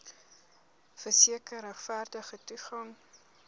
verseker regverdige toegang